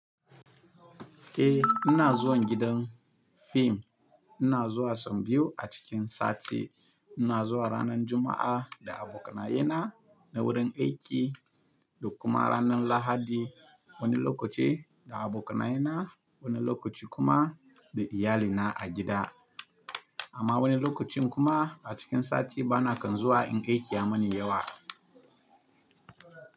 Eh ina zuwan gidan fim. Ina zuwa sau biyu a cikin sati. Ina zuwa ranar Juma'a da abokanaye na wurin aiki da kuma ranar Lahadi wani lokaci da abokanaye na wani lokaci kuma da iyalina a gida. Amma wani lokacin kuma a cikin sati bana kan zuwa in aiki ya mani yawa.